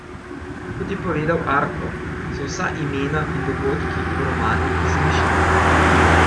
Kot je povedal Arko, so vsa imena in dogodki v romanu izmišljeni.